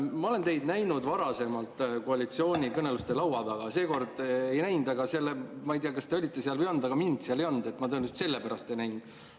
Ma olen teid näinud varasemalt koalitsioonikõneluste laua taga, seekord ei näinud – ma ei tea, kas te olite seal või ei olnud, aga mind seal ei olnud, tõenäoliselt selle pärast ma teid ei näinud.